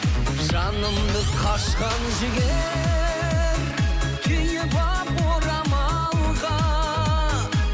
жанымды қашқан жігер түйіп алып орамалға